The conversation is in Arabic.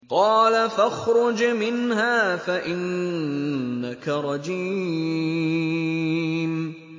قَالَ فَاخْرُجْ مِنْهَا فَإِنَّكَ رَجِيمٌ